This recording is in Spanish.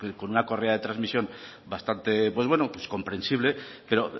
con una correa de trasmisión bastante comprensible pero